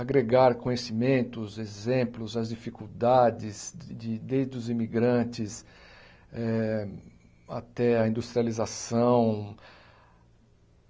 agregar conhecimentos, exemplos às dificuldades, desde os imigrantes eh até a industrialização.